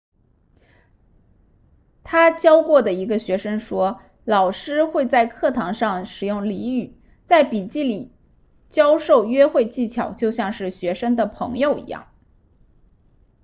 他教过的一个学生说老师会在课堂上使用俚语在笔记里教授约会技巧就像是学生的朋友一样